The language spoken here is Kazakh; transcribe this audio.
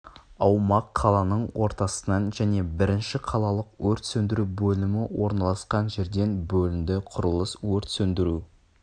аумақ қаланың ортасынан және бірінші қалалық өрт сөндіру бөлімі орналасқан жерден бөлінді құрылыс өрт сөндіру